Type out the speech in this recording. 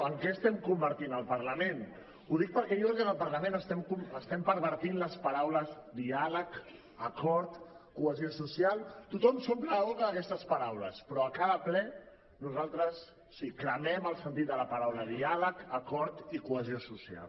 en què estem convertint el parlament ho dic perquè jo crec que en el parlament estem pervertint les paraules diàleg acord cohesió social tothom s’omple la boca d’aquestes paraules però a cada ple nosaltres o sigui cremem el sentit de les paraules diàleg acord i cohesió social